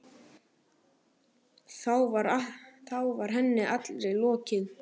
Þá var henni allri lokið.